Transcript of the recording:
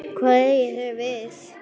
Hvað eigið þið við?